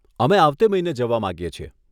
અમે આવતે મહિને જવા માંગીએ છીએ.